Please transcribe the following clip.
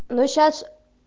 ну сейчас